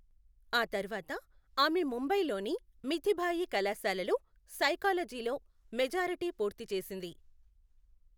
ఆ తర్వాత ఆమె ముంబైలోని మిథిబాయి కళాశాలలో సైకాలజీలో మెజార్టీ పూర్తి చేసింది.